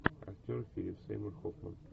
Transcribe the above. актер филип сеймур хоффман